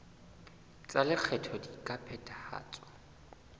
tsa lekgetho di ka phethahatswa